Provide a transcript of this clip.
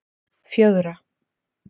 fjögra